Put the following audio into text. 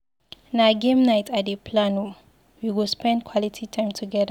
Na game night I dey plan o, we go spend quality time together.